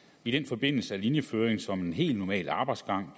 i den forbindelse er linjeføringen som en helt normal arbejdsgang